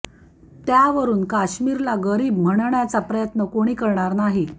त्यावरून काश्मीरला गरीब म्हणण्याचा प्रयत्न कोणी करणार नाही